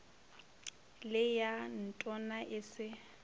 le ya ntona e se